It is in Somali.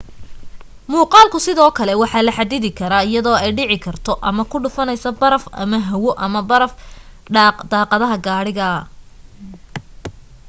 muuqaalku sidoo kale waa la xaddidi karaa iyadoo ay dhici karto ama ku dhufanayso baraf ama hawo ama baraf daaqadaha gaariga